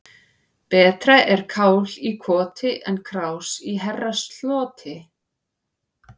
Betra er kál í koti en krás í herrasloti.